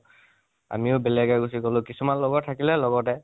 আমিও বেলেগে গুছি গলো, কিছুমান লগৰ থাকিলে লগতে